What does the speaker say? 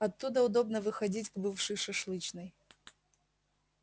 оттуда удобно выходить к бывшей шашлычной